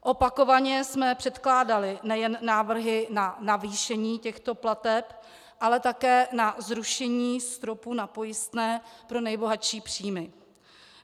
Opakovaně jsme předkládali nejen návrhy na navýšení těchto plateb, ale také na zrušení stropu na pojistné pro nejbohatší příjmy.